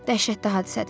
Dəhşətli hadisədir.